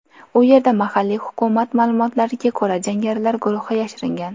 U yerda, mahalliy hukumat ma’lumotlariga ko‘ra, jangarilar guruhi yashiringan.